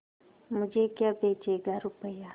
मुझे क्या बेचेगा रुपय्या